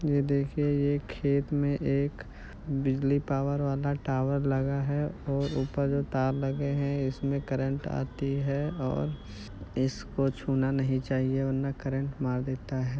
यह देखिये ये खेत मे एक बिजली पावर वाला टावर लगा हैं और ऊपर जो तार लगे हैं इसमें करंट आता है और इसको छूना नहीं चाहिए वरना करंट मार देता है।